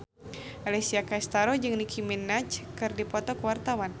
Alessia Cestaro jeung Nicky Minaj keur dipoto ku wartawan